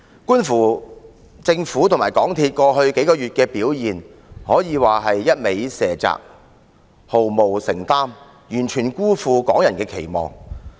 觀乎政府和港鐵公司在過去數月的表現，可以說是不斷卸責，毫無承擔，完全辜負港人的期望。